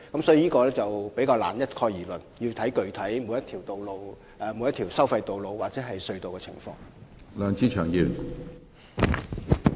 所以，我們難以一概而論，而要視乎每條收費道路或隧道的具體情況。